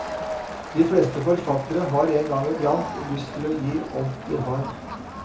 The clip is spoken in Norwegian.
De fleste forfattere har en gang i blant lyst til å gi alt de har.